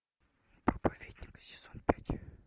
проповедник сезон пять